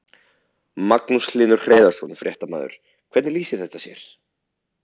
Magnús Hlynur Hreiðarsson, fréttamaður: Hvernig lýsir þetta sér?